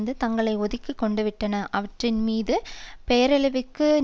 தங்களை ஒதுக்கி கொண்டுவிட்டன அவற்றின் மீது பெயரளவிற்கு நிர்வாகிகளின் ஊதியம்